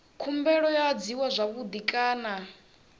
khumbelo yo adziwa zwavhui kana